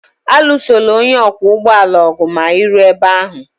Alụsola onye ọkwọ ụgbọala ọgụ ma ị ruo ebe ahụ!